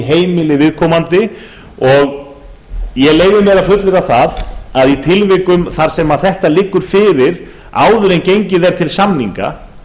heimili viðkomandi ég leyfi mér að fullyrða það að í tilvikum þar sem þetta liggur fyrir áður en gengið er til samninga